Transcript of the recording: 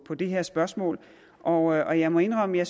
på det her spørgsmål og jeg må indrømme at